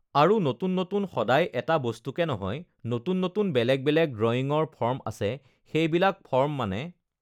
আৰু নতুন নতুন সদায় এটা বস্তুকে নহয় নতুন নতুন বেলেগ বেলেগ ড্ৰয়িঙৰ ফৰ্ম আছে সেইবিলাক ফৰ্ম মানে